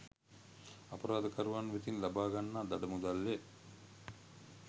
අපරාධකරුවන් වෙතින් ලබා ගන්නා දඩ මුදල් ය.